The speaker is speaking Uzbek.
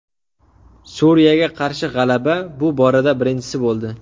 Suriyaga qarshi g‘alaba bu borada birinchisi bo‘ldi.